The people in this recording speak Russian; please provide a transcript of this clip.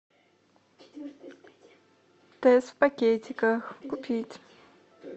тесс в пакетиках купить